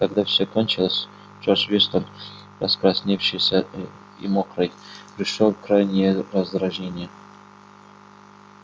когда всё кончилось джордж вестон раскрасневшийся и и мокрый пришёл в крайнее раздражение